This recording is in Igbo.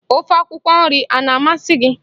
Ofe akwụkwọ nri a na-amasị gị?